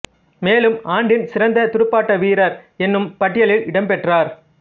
மேலும் ஆண்டின் சிறந்த துடுப்பாட்ட வீரர் எனும் பட்டியலில் இடம் பெற்றார்